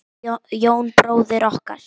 Jón bróðir okkar.